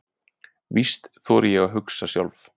Víst þori ég að hugsa sjálf.